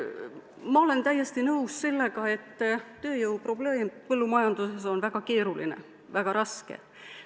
Ma olen täiesti nõus, et tööjõu probleem põllumajanduses on väga keeruline, väga raske.